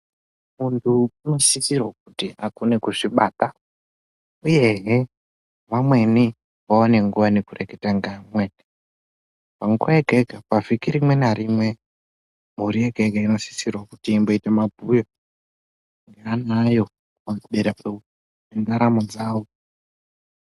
Muntu unosisirwa kuti akone kuzvibata, uyehe vamweni vawane nguva nekureketa ngamwe .Panguva yega yega pavhiki rimwe narimwe mhuri yega yega inosisirwe kuti imboite mabhuye neana ayo pantaramo dzavo.